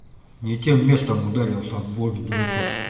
не тем местом ударился об воду дурачок